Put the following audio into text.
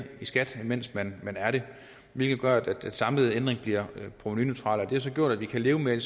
i skat mens man er det hvilket gør at den samlede ændring bliver provenuneutral det har så gjort at vi kan leve med det